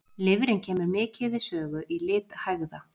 Lifrin kemur mikið við sögu í lit hægða.